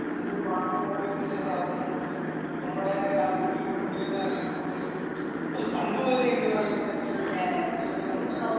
അതിൽനിന്ന് മാത്രം കണ്ടിരുന്ന ചില സാധനങ്ങൾ നമ്മള് നമ്മടെ രാജ്യങ്ങളിലും ഉണ്ട് എന്ന് പറയുമ്പോൾ ഒരു അതും പണ്ട് മുതലേ ഉണ്ട് പറയുമ്പോതന്നെ ഒരു കൗതുകമുണ്ടായിരുന്നു.